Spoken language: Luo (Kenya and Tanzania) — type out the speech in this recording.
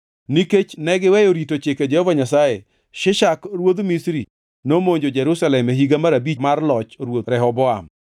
Nikech negiweyo rito chike Jehova Nyasaye, Shishak ruodh Misri nomonjo Jerusalem e higa mar abich mar loch Ruoth Rehoboam.